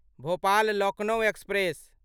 Bhopal Lucknow express